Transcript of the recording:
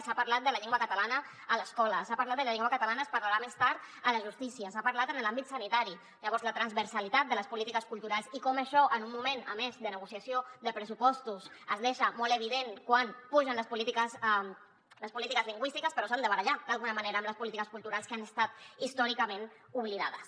s’ha parlat de la llengua catalana a l’escola s’ha parlat de la llengua catalana se’n parlarà més tard a la justícia se n’ha parlat en l’àmbit sanitari llavors la transversalitat de les polítiques culturals i com això en un moment a més de negociació de pressupostos es deixa molt evident que pugen les polítiques lingüístiques però s’han de barallar d’alguna manera amb les polítiques culturals que han estat històricament oblidades